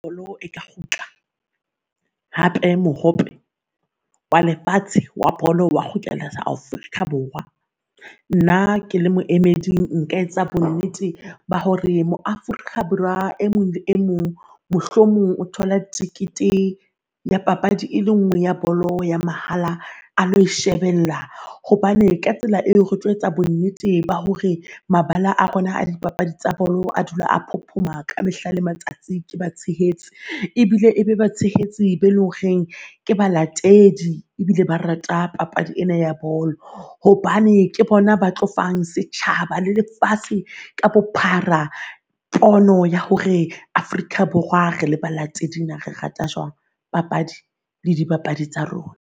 Bolo e ka kgutla hape mohope wa lefatshe wa bolo wa kgutlela Afrika Borwa. Nna ke le moemedi, nka etsa bonnete ba hore mo Afrika Borwa e mong le e mong mohlomong o thola thekethe ya papadi e le ngwe ya bolo ya mahala a lo ishebella. Hobane ka tsela eo re tlo etsa bonnete ba hore mabala a rona a dipapadi tsa bolo, a dula a phophoma ka mehla le matsatsi ke ba tshehetsi. Ebile e be batshehetsi be lo reng ke balatedi ebile ba rata papadi ena ya bolo. Hobane ke bona ba tlo fang setjhaba le lefatshe ka bophara pono ya hore Afrika Borwa re le balatedi naa re rata jwang papadi le dibapadi tsa rona.